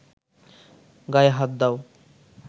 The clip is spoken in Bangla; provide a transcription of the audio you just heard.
গায়ে হাত দাও